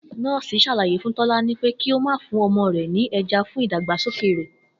Nó̩ò̩sì sàlàyé fún Tó̩lání pé kí ó máa fún o̩mo̩ rè̩ ní e̩ja fún ìdàgbàsókè rè